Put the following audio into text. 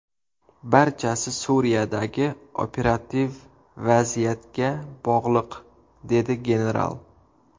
Barchasi Suriyadagi operativ vaziyatga bog‘liq”, dedi general.